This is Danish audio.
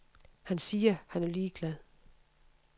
Han siger, han er ligeglad.